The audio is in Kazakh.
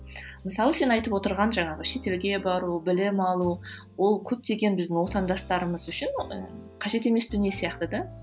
мысалы сен айтып отырған жаңағы шетелге бару білім алу ол көптеген біздің отандастарымыз үшін і қажет емес дүние сияқты да